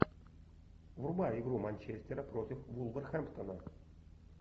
врубай игру манчестера против вулверхэмптона